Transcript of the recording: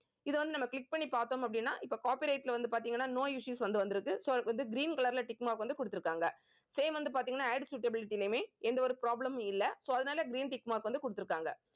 இதை வந்து நம்ம click பண்ணி பார்த்தோம் அப்படின்னா இப்ப copyright ல வந்து பாத்தீங்கன்னா no issues வந்து வந்திருக்கு so அதுக்கு வந்து green colour ல tick mark வந்து கொடுத்திருக்காங்க same வந்து பார்த்தீங்கன்னா ad suitability லயுமே எந்த ஒரு problem மும் இல்லை. so அதனால green tick mark வந்து கொடுத்திருக்காங்க